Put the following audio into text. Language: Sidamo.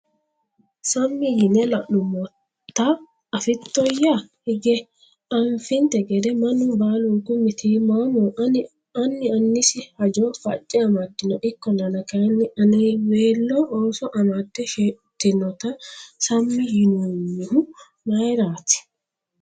sammi yine la’nummota afittoyya? Hige anfinte gede mannu baalunku mitiimmaamoho; anni annisi haja facce amaddino. Ikkollana kayinni, anniweelo ooso amadde shettinota sammi yinoommohu mayirati?